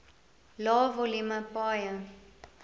lae volume paaie